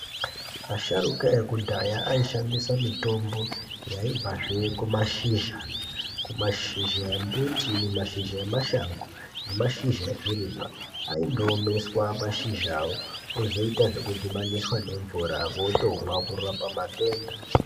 Asharuka ekudhaya aishandisa mitombo yaibvazve kumashizha, kumashizha embuti, mashizha emashango nemashizha ezvirimwa aindoomeswa mashizhawo ozoita zvekudhibaniswa nemvura votomwa kurapa matenda.